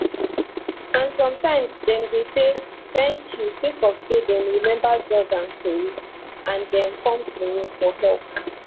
and sometimes dem dey say thank you sake of say dem remember jordan tori and dem come to me for help